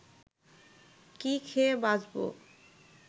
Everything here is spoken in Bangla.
কি খেয়ে বাঁচব